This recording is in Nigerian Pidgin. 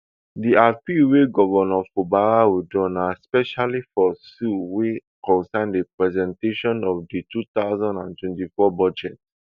di appeal wey govnor fubara withdraw na specifically for suit wey concern di presentation of di two thousand and twenty-four budget